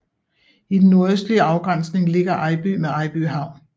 I den nordøstlige afgrænsning ligger Ejby med Ejby Havn